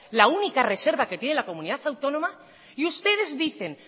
la única reserva que tiene la comunidad autónoma y ustedes dicen